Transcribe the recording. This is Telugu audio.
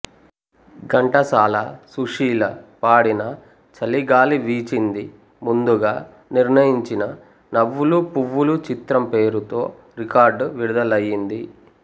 ఘంటసాల సుశీల పాడిన చలిగాలి వీచింది ముందుగా నిర్ణయించిన నవ్వులు పువ్వులు చిత్రం పేరుతో రికార్డ్ విడుదలయింది